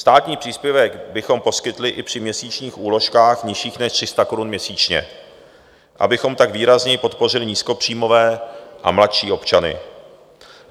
Státní příspěvek bychom poskytli i při měsíčních úložkách nižších než 300 korun měsíčně, abychom tak výrazněji podpořili nízkopříjmové a mladší občany.